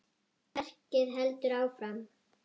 Verkið heldur áfram.